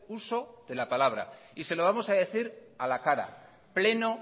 uso de la palabra y se lo vamos a decir a la cara pleno